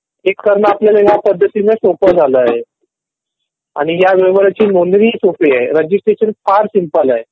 हे करणं आपल्याला या पद्धतीमध्ये सोपं झाल आहे. आणि ह्या व्यवहाराची नोंदणी ही सोपी आहे. रजिस्ट्रेशन फार सिम्पल आहे.